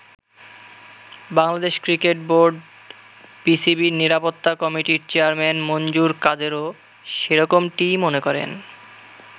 Bangladesh cricket বোর্ড-বিসিবির নিরাপত্তা কমিটির চেয়ারম্যান মনজুর কাদেরও সেরকমটিই মনে করেন।